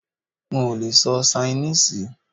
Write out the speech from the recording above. N ò lee sọ Ṣainíìsì